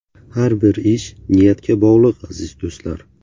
Har bir ish niyatga bog‘liq aziz do‘stlar.